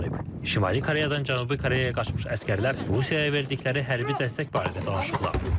Şimali Koreyadan Cənubi Koreyaya qaçmış əsgərlər Rusiyaya verdikləri hərbi dəstək barədə danışırlar.